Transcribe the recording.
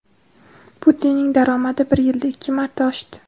Putinning daromadi bir yilda ikki marta oshdi.